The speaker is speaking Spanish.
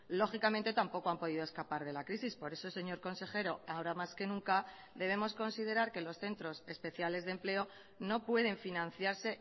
lógicamente tampoco han podido escapar de la crisis por eso señor consejero ahora más que nunca debemos considerar que los centros especiales de empleo no pueden financiarse